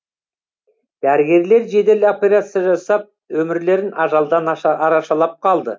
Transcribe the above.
дәрігерлер жедел операция жасап өмірлерін ажалдан арашалап қалды